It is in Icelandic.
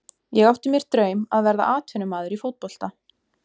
Ég átti mér draum að verða atvinnumaður í fótbolta.